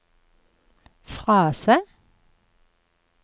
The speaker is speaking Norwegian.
frase